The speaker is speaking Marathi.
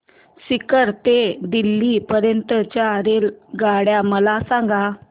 सीकर ते दिल्ली पर्यंत च्या रेल्वेगाड्या मला सांगा